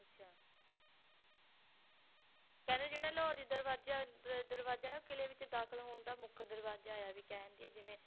ਅੱਛਾ ਕਹਿੰਦੇ ਜਿਹੜਾ ਲਾਹੌਰੀ ਦਰਵਾਜ਼ਾ ਦਰਵਾਜ਼ਾ ਉਹ ਕਿਲ੍ਹੇ ਵਿੱਚ ਦਾਖ਼ਲ ਹੋਣ ਦਾ ਮੁੱਖ ਦਰਵਾਜ਼ਾ ਹੈ ਵੀ ਕਹਿ ਦੇਈਏ ਜਿਵੇਂ